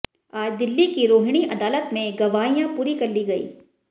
आज दिल्ली की रोहिणी अदालत में गवाहियां पूरी कर ली गयीं